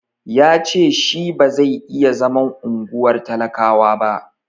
Ya ce shi ba zai iya zaman unguwar talakawa ba.